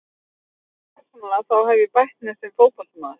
Fyrir mig persónulega þá hef ég bætt mig sem fótboltamaður.